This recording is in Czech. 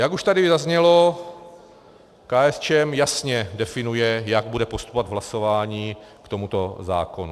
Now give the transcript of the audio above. Jak už tady zaznělo, KSČM jasně definuje, jak bude postupovat v hlasování k tomuto zákonu.